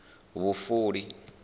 vhufuli